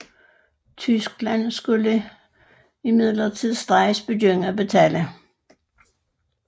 Tyskland skulle imidlertid straks begynde at betale